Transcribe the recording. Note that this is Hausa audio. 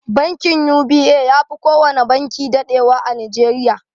Bankin UBA yafi kowana banki daɗewa a nigeria.